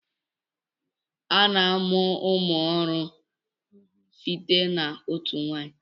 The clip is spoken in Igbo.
A na-amụ ụmụ ọhụrụ site na otu nwanyi.